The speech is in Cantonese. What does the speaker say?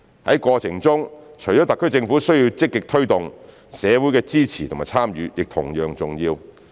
在過程中，除了特區政府需要積極推動，社會的支持和參與亦同樣重要。